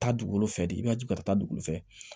Taa dugu fɛ de i ma jigin ka taa dugukolo fɛ